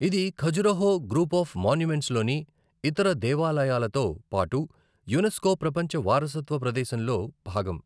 ఇది Khajuraho group of మాన్యుమెంట్స్లోని ఇతర దేవాలయాలతో పాటు యునెస్కో ప్రపంచ వారసత్వ ప్రదేశంలో భాగం.